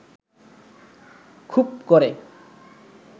খুব ক’রে